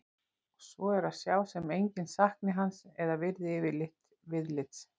Og svo er að sjá sem enginn sakni hans eða virði yfirleitt viðlits.